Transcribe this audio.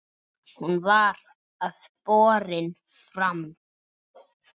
Hún var ekki borin fram.